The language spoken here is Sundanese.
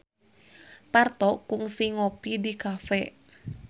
Parto kungsi ngopi di cafe